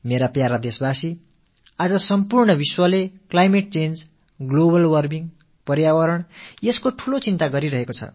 எனதருமை நாட்டு மக்களே இன்று உலகம் முழுவதிலும் பருவநிலை மாற்றம் உலக வெப்பமயமாதல் சுற்றுச்சூழல் ஆகியன பற்றிய கவலை மேலோங்கி இருக்கிறது